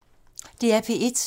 DR P1